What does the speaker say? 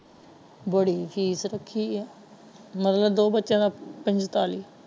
ਬੜੀ ਫੀਸ ਰੱਖੀ ਹੈ ਮਤਲਬ ਦੋ ਬੱਚਿਆਂ ਦਾ ਪੰਤਾਲੀ।